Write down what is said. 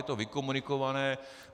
Je to vykomunikované?